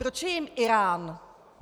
Proč je jím Írán?